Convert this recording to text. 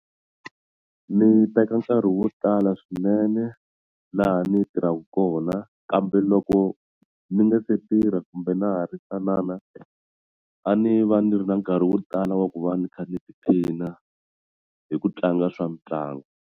Ni teka nkarhi wo tala swinene laha ni tirhaka kona kambe loko ni nga se tirha kumbe na ha ri ntsanana a ni va ni ri na nkarhi wo tala wa ku va ni kha ni tiphina hi ku tlanga swa mitlangu.